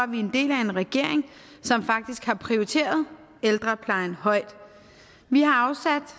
vi er en del af en regering som faktisk har prioriteret ældreplejen højt vi har